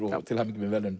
til hamingju með verðlaunin